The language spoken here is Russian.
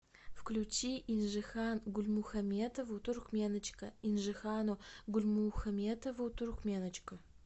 включи инжихан гульмухометову туркменочка инжихану гульмухометову туркменочка